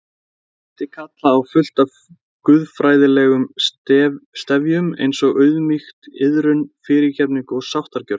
Myndi kalla á fullt af guðfræðilegum stefjum eins Auðmýkt, iðrun, fyrirgefningu og sáttargjörð.